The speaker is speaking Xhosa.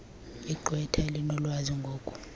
igqwetha elinolwazi ngoku